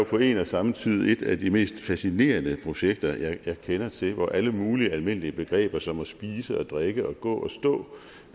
på en og samme tid et af de mest fascinerende projekter jeg kender til hvor alle mulige almindelige begreber som at spise og drikke og gå og stå